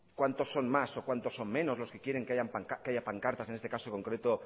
cuántos son más o cuántos son menos los que quieren que haya pancartas en este caso concreto